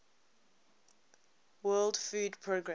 world food programme